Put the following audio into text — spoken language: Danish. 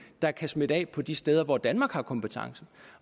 der kan smitte af på de steder hvor danmark har kompetencen